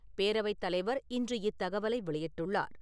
பேரவைத் தலைவர் இன்று இத் தகவலை வெளியிட்டுள்ளார்.